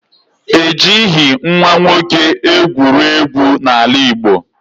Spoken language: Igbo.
E jighị nwa nwoke egwuregwu n'ala Igbo